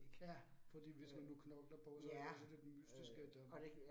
Ja, fordi hvis nu du knokler på, så er det lidt mystisk at øh